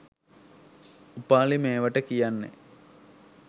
උපාලි මේවට කියන්නෙ